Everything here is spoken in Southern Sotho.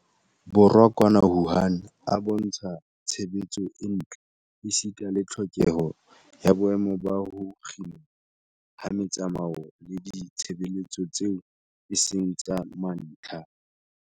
Borwa kwana Wuhan a bontsha tshebetso e ntle esita le tlhokeho ya boemo ba ho kginwa ha metsamao le ditshebeletso tseo e seng tsa mantlha.